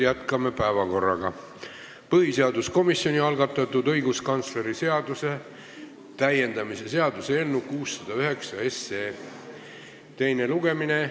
Jätkame päevakorraga: põhiseaduskomisjoni algatatud õiguskantsleri seaduse täiendamise seaduse eelnõu 609 teine lugemine.